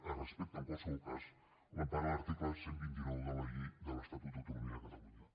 es respecta en qualsevol cas a l’empara de l’article cent i vint nou de la llei de l’estatut d’autonomia de catalunya